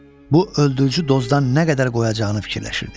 Bu öldürücü dozdan nə qədər qoyacağını fikirləşirdi.